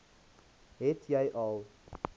het jy al